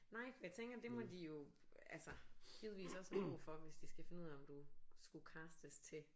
Nej jeg tænker det må de jo altså givetvis også have brug for hvis de skal finde ud af om du skulle castes til